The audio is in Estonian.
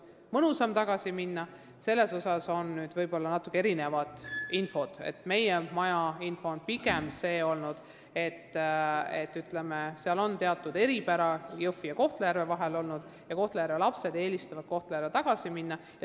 Ministeeriumi info kohaselt on Jõhvi ja Kohtla-Järve vahel teatud eripära, mistõttu eelistasid Kohtla-Järve lapsed Kohtla-Järvele tagasi minna.